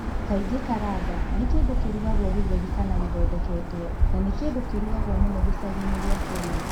Kaingĩ karanga nĩ kĩndũ kĩrũragwo gĩtheri kana gĩthondeketwo, na nĩ kĩndũ kĩrũragwo mũno gĩcagi-inĩ gĩa Kenya.